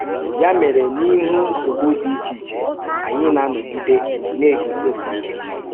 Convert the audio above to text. Yà mèrè, n’íhù nsọ̀gbù dị iche-ìche, ànyị na-anọ̀gìdé na-egùzósì íké um